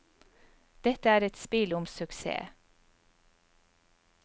Dette er et spill om suksess.